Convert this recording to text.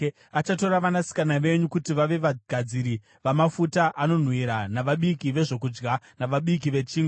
Achatora vanasikana venyu kuti vave vagadziri vamafuta anonhuhwira navabiki vezvokudya navabiki vechingwa.